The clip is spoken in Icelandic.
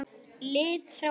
lið frá vegg?